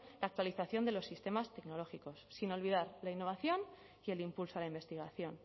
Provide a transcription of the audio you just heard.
la actualización de los sistemas tecnológicos sin olvidar la innovación y el impulso a la investigación